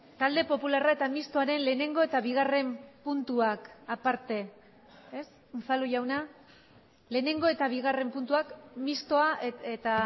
talde popularra eta mixtoaren lehenengo eta bigarren puntuak aparte ez unzalu jauna lehenengo eta bigarren puntuak mistoa eta